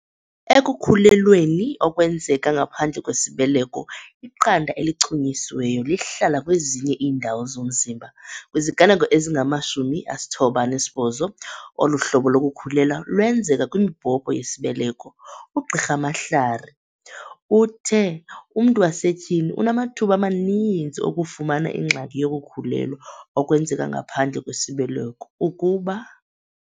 "Ekukhulelweni okwenzeka ngaphandle kwesibeleko, iqanda elichunyisiweyo lihlala kwezinye iindawo zomzimba. Kwiziganeko ezingama-98, olu hlobo lokukhulelwa lwenzeka kwimibhobho yesibeleko. UGqr Mhlari uthe umntu wasetyhini unamathuba amaninzi okufumana ingxaki yokukhulelwa okwenzeka ngaphandle kwesibeleko ukuba."